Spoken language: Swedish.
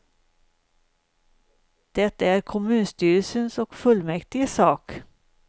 Det är kommunstyrelsens och fullmäktiges sak.